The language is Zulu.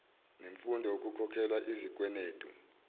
ngemfundo ukukhokhelwa izikwenetu